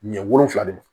Ɲɛ wolonwula de don